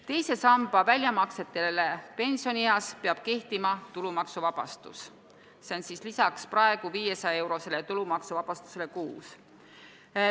Teise samba väljamaksetele pensionieas peab kehtima tulumaksuvabastus – see on siis lisaks praegusele 500 euro tulumaksuvabastusele kuus.